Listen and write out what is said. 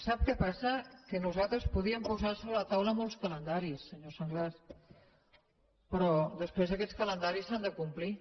sap què passa que nosaltres podíem posar sobre la taula molts calendaris senyor sanglas però després aquests calendaris s’han de complir